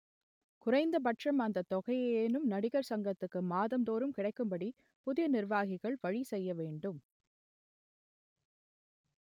குறைந்தபட்சம் அந்த தொகையையேனும் நடிகர் சங்கத்துக்கு மாதம்தோறும் கிடைக்கும்படி புதிய நிர்வாகிகள் வழி செய்ய வேண்டும்